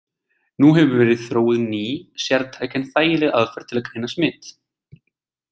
Nú hefur verið þróuð ný, sértæk en þægileg aðferð til að greina smit.